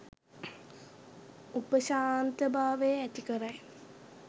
උපශාන්ත භාවය ඇති කරයි.